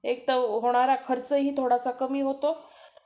एकतर होणारा खर्चही थोडासा कमी होतो